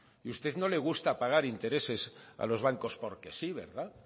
usted no le gusta pagar intereses a los bancos porque sí verdad